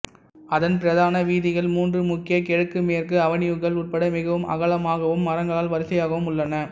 அதன் பிரதான வீதிகள் மூன்று முக்கிய கிழக்குமேற்கு அவென்யூக்கள் உட்பட மிகவும் அகலமாகவும் மரங்களால் வரிசையாகவும் உள்ளன